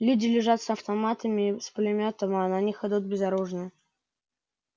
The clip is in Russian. люди лежат с автоматами с пулемётами а на них идут безоружные